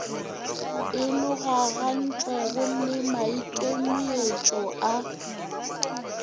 e logagantšwego le maikemietšo a